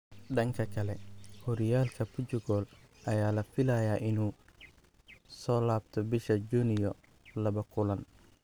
Dhanka kale, Horyaalka Portugal ayaa la filayaa inuu soo laabto bisha Junyo laba kulan.